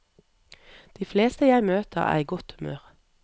De fleste jeg møter er i godt humør.